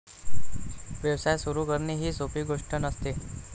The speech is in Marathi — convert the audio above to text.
व्यवसाय सुरू करणे ही सोपी गोष्टी नसते.